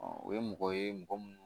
o ye mɔgɔ ye mɔgɔ minnu